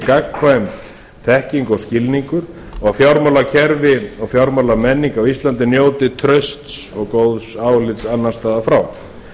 gagnkvæm þekking og skilningur og fjármálakerfi og fjármálamenning á íslandi njóti trausts og góðs álits annars staðar frá